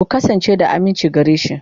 Ku kasance da aminci gare shi.